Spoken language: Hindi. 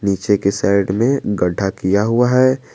नीचे के साइड में गड्ढा किया हुआ है।